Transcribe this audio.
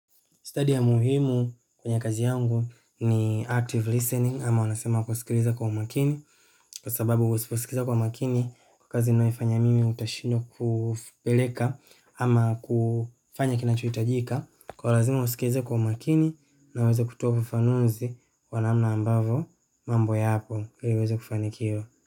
Study ya muhimu kwenye kazi yangu ni active listening ama wanasema kusikiliza kwa umakini kwa sababu usiposikiza kwa umakini kwa kazi ninayoifanya mimi nitashindwa kupeleka ama kufanya kinachohitajika. Kwa hiyo lazima usikize kwa umakini na uweze kutoa ufafanuzi kwa namna ambavyo mambo yako ili uweze kufanikiwa.